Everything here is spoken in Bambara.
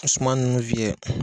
Suma ninnu fiyɛ.